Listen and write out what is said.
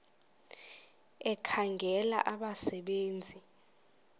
ekhangela abasebe nzi